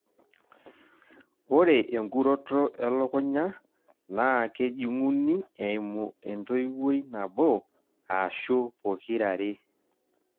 ore enkuroto elukunya naa kejung'uni eimu entoiwoi nabo aashu pokira are.